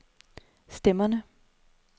stemmerne